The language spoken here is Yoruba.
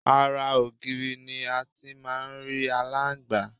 Ara ògiri ni a ti ń máà ń rí aláǹgbá